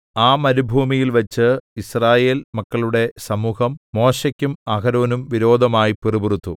ആ മരുഭൂമിയിൽവച്ച് യിസ്രായേൽ മക്കളുടെ സമൂഹം മോശെയ്ക്കും അഹരോനും വിരോധമായി പിറുപിറുത്തു